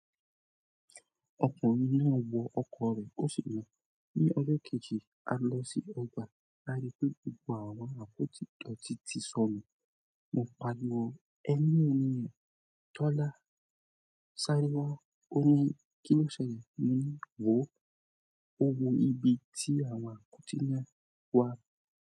Ọkùnrin náà wọ ọkọ̀ rẹ̀ ó sì lo, "Ní ọjọ́kẹ̀jì, a lọ sí ọgbà" lári pé gbogbo àwọn àpó ídọ̀tí ti sọnù. Mo pariwo, "Ẹ ní òní ẹ." Tọ́lá sáré wá ó ní, "Kí ló ṣẹ́ lẹ?" Mo ní, "Wò ó." Ó wo ibi tí àwọn àpótí náà wà.